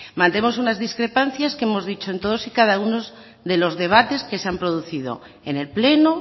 mantenemos unas discrepancias que hemos dicho en todos y cada uno de los debates que se han producido en el pleno